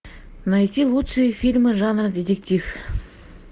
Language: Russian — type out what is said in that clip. найти лучшие фильмы жанра детектив